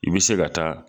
I bɛ se ka taa